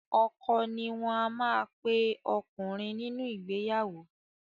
Ọkọ ni wọ́n má ape ọkùnrin nínú ìgbeyàwó.